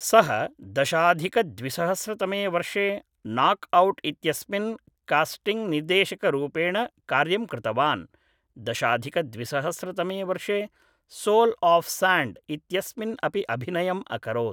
सः दशाधिकद्विसहस्रतमे वर्षे नाक् औट् इत्यस्मिन् कास्टिङ्ग् निर्देशकरूपेण कार्यं कृतवान् दशाधिकद्विसहस्रतमे वर्षे सोल् आफ् साण्ड् इत्यस्मिन् अपि अभिनयम् अकरोत्